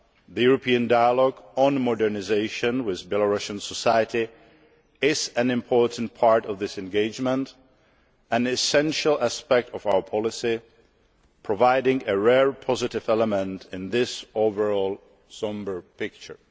The European dialogue on modernisation with Belarusian society is an important part of this engagement and an essential aspect of our policy, providing a rare positive element in this overall sombre picture.